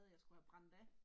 Jeg skulle have brændt af